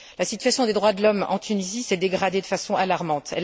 La situation des droits de l'homme en Tunisie s'est dégradée de façon alarmante.